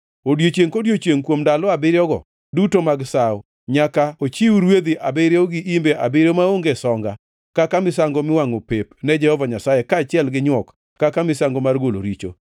Odiechiengʼ kodiechiengʼ, kuom ndalo abiriyogo duto mag sawo, nyaka ochiw rwedhi abiriyo gi imbe abiriyo maonge songa, kaka misango miwangʼo pep ni Jehova Nyasaye, kaachiel gi nywok kaka misango mar golo richo.